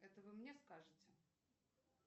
это вы мне скажете